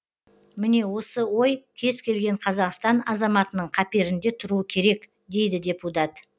міне осы ой кез келген қазақстан азаматының қаперінде тұруы керек дейді депутат